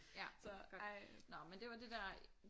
Ja godt. Nåh men det var det der